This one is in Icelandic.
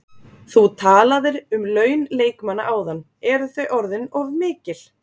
Þú talaðir um laun leikmanna áðan, eru þau orðin of mikil?